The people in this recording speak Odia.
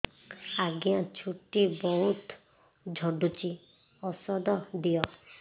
ଆଜ୍ଞା ଚୁଟି ବହୁତ୍ ଝଡୁଚି ଔଷଧ ଦିଅ